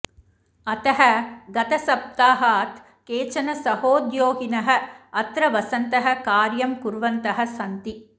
अतः गतसप्ताहात् केचन सहोद्योगिनः अत्र वसन्तः कार्यं कुर्वन्तः सन्ति